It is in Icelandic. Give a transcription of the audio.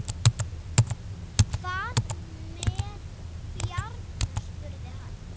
Hvað með Bjarna? spurði hann.